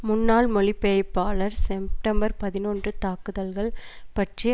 முன்னாள் மொழி பெயர்ப்பாளர் செம்ப்டம்பர் பதினொன்று தாக்குதல்கள் பற்றி